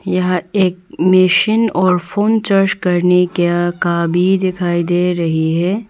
यह एक मेशेन और फोन चार्ज करने क्या का भी दिखाई दे रही है।